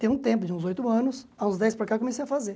Tem um tempo, uns oito anos, aos dez para cá eu comecei a fazer.